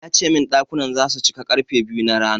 Ali ya ce min ɗakunan zasu cika zuwa ƙarfe biyu na rana.